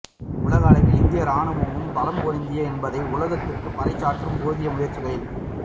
உலக அளவில் இந்திய ராணுவமும் பலம் பொருந்தியது என்பதை உலகிற்கு பறைசாற்ற போதிய முயற்சிகளில்